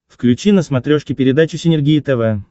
включи на смотрешке передачу синергия тв